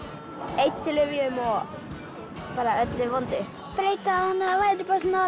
eiturlyfjum og bara öllu vondu breyta þannig að það væri